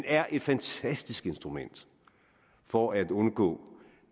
er et fantastisk instrument for at undgå